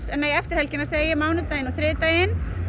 eftir helgina mánudaginn og þriðjudaginn